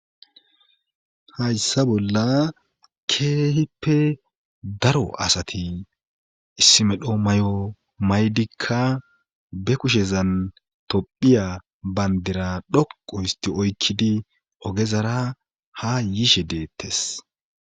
hayssa bolla keehippe daro asati issi medho mayo maydikka be kushezan tophiya bayndira dhoqu histi oykkidi ogezara ha yishe deettes